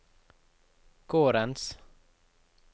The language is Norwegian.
gårdens